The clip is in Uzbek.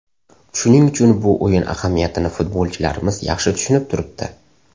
Shuning uchun bu o‘yin ahamiyatini futbolchilarimiz yaxshi tushunib turibdi.